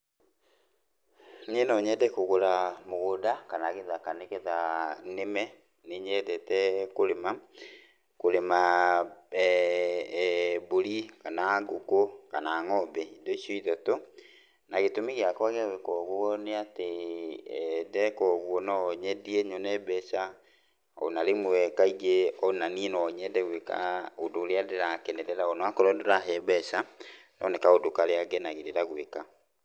Niĩ no nyende kũgũra mũgũnda kana gĩthaka nĩgetha nĩme. Nĩ nyendete kũrĩma, kũrĩma eh mbũri, kana ngũkũ, kana ng'ombe, indo icio ithatũ. Na gĩtũmi gĩakwa gĩa gwĩka ũguo nĩ atĩ ndeeka ũguo no nyendie, nyone mbeca, o na rĩmwe kaingĩ, o na niĩ no nyende gwĩka ũndũ ũrĩa ndĩrakenerera, o na korwo ndũrahe mbeca, no nĩ kaũndũ karĩa ngenagĩrĩra gwĩka.